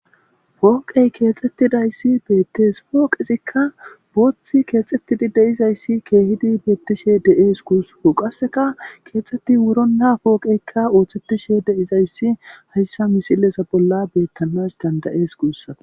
pooqey keexxettidayssi beettees pooqizikka booththi keexettidi deizayssi keehidi beettishe de7ees kuuso qasseka keexxetti wurona pooqeykka ooththettishe deizayssi hayssa misilesa bolla bettanas dandayees guussata